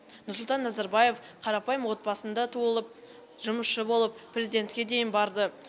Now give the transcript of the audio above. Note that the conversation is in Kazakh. нұрсұлтан назарбаев қарапайым отбасында туылып жұмысшы болып президентке дейін барды